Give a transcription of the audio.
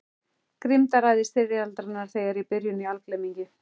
Grimmdaræði styrjaldarinnar þegar í byrjun í algleymingi.